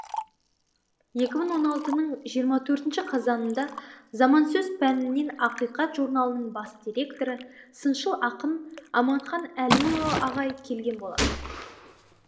екі мың он алтының жиырма төртші қазанында замансөз пәнінен ақиқат журналының бас деректоры сыншыл ақын аманхан әлімұлы ағай келген болатын